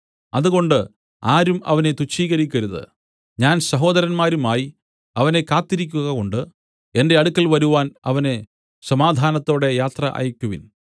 അതുകൊണ്ട് ആരും അവനെ തുച്ഛീകരിക്കരുത് ഞാൻ സഹോദരന്മാരുമായി അവനെ കാത്തിരിക്കുകകൊണ്ട് എന്റെ അടുക്കൽ വരുവാൻ അവനെ സമാധാനത്തോടെ യാത്ര അയക്കുവിൻ